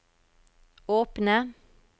åpne